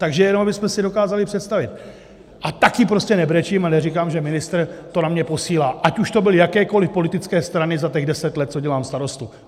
Takže jenom abychom si dokázali představit, a také prostě nebrečím a neříkám, že ministr to na mě posílá, ať už to byly jakékoliv politické strany za těch deset let, co dělám starostu.